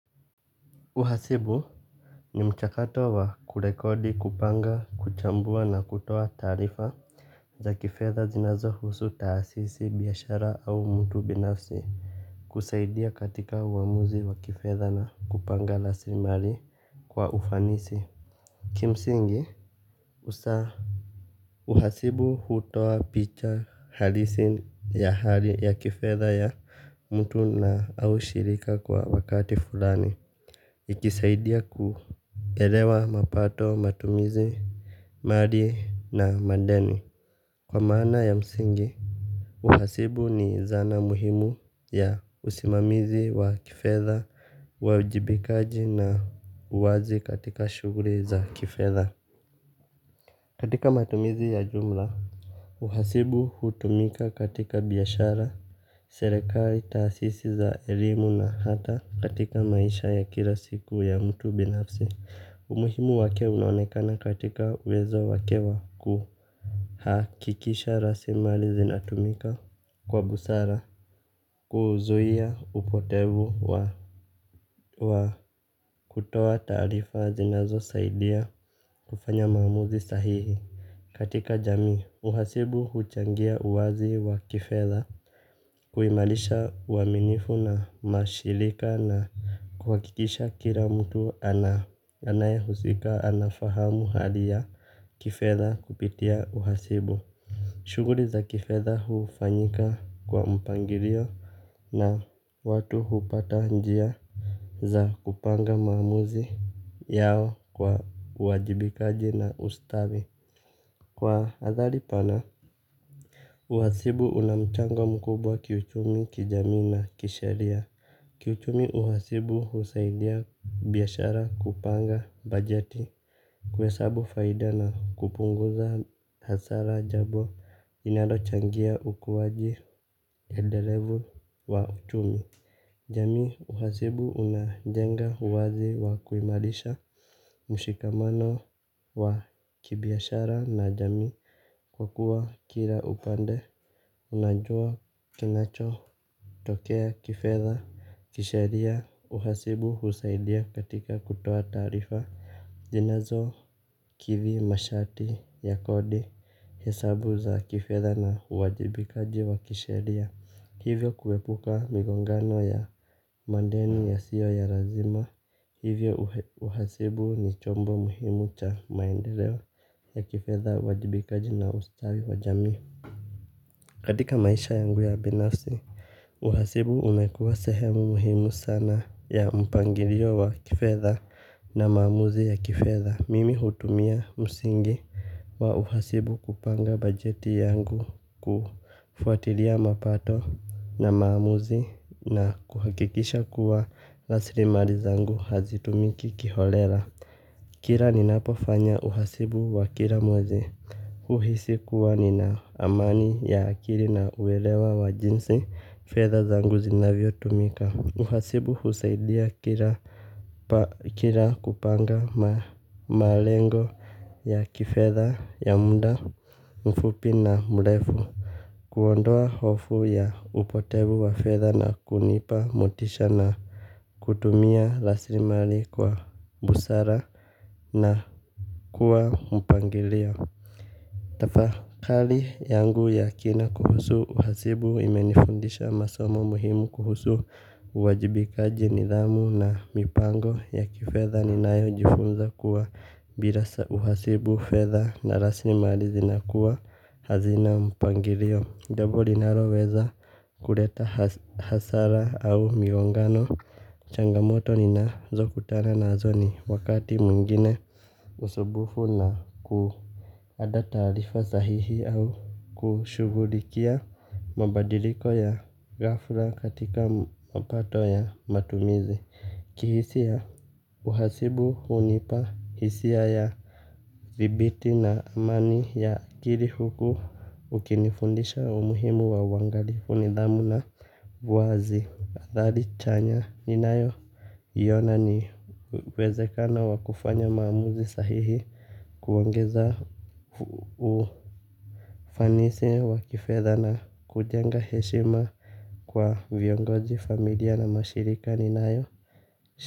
Uhasibu. Ni mchakato wa kurekodi, kupanga, kuchambua na kutoa taarifa za kifedha zinazohusu taasisi, biashara au mtu binafsi. Husaidia katika uamuzi wa kifedha na kupanga raslimali kwa ufanisi. Kimsingi, usaa, uhasibu hutoa picha halisi ya hali ya kifedha ya mtu na au shirika kwa wakati fulani. Ikisaidia kuelewa mapato, matumizi, mali na madeni. Kwa maana ya msingi, uhasibu ni zana muhimu ya usimamizi wa kifedha, uajibikaji na uwazi katika shughuli za kifedha. Katika matumizi ya jumla, uhasibu hutumika katika biashara, serekali, taasisi za elimu na hata katika maisha ya kila siku ya mtu binafsi. Umuhimu wake unaonekana katika uwezo wake wa kuhakikisha raslimali zinatumika kwa busara. Kuzuia upotevu wa, wa kutoa taarifa zinazosaidia kufanya maamuzi sahihi. Katika jamii, uhasibu huchangia uwazi wa kifedha kuimarisha uaminifu na mashilika na kuhakikisha kila mtu anayehusika anafahamu hali ya kifedha kupitia uhasibu. Shughuli za kifedha hufanyika kwa mpangilio na watu hupata njia za kupanga maamuzi yao kwa uwajibikaji na ustawi. Kwa hadhali pana, uhasibu una mchango mkubwa kiuchumi, kijamii na kisheria. Kiuchumi uhasibu husaidia biashara kupanga bajeti, kuhesabu faida na kupunguza hasara jambo linalochangia ukuwaji endelevu wa uchumi. Jamii, uhasibu unajenga uwazi wa kuimarisha mshikamano wa kibiashara na jamii kwa kuwa kila upande unajua kinacho tokea kifedha, kisheria, uhasibu husaidia katika kutoa taarifa zinazokithi masharti ya kodi, hesabu za kifedha na uwajibikaji wa kisheria. Hivyo kuepuka migongano ya madeni yasiyo ya lazima. Hivyo uhasibu ni chombo muhimu cha maendeleo ya kifedha, uwajibikaji na ustawi wa jamii. Katika maisha yangu ya binasi, uhasibu umekuwa sehemu muhimu sana ya mpangilio wa kifedha na maamuzi ya kifedha. Mimi hutumia msingi wa uhasibu kupanga bajeti yangu kufuatilia mapato na maamuzi na kuhakikisha kuwa raslimali zangu hazitumiki kiholela. Kila ninapofanya uhasibu wa kila mwezi, huhisi kuwa nina amani ya akili na uelewa wa jinsi fedha zangu zinavyotumika. Uhasibu husaidia kila kila kupanga malengo ya kifedha ya muda mfupi na mrefu. Kuondoa hofu ya upotevu wa fedha na kunipa motisha na kutumia raslimali kwa busara na kwa mpangilio. Tafakali yangu ya kina kuhusu uhasibu imenifundisha masomo muhimu kuhusu uwajibikaji, nidhamu na mipango ya kifedha ninayojifunza kuwa bila sa uhasibu, fedha na raslimali zinakuwa hazina mpangilio jambo linaloweza kuleta hasara au migongano. Changamoto ninazokutana nazo ni wakati mwingine usumbufu na kuandaa taarifa sahihi au kushughulikia mabadiliko ya ghafla katika mapato ya matumizi. Kihisia, uhasibu hunipa hisia ya dhibiti na amani ya akili huku ukinifundisha umuhimu wa uangalifu, nidhamu na uwazi. Athari chanya ninayoiona ni uwezekano wa kufanya maamuzi sahihi. Kuongeza ufanisi wa kifedha na kujenga heshima kwa viongozi, familia na mashirika ninayo.